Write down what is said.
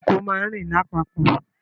Ìkòkò máa ń rìn lápapò